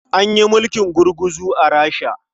An yi mulkin gurguzu a Rasha.